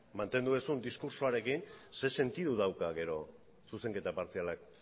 mantendu duzun diskurtsoarekin zer sentidu dauka gero zuzenketa partzialak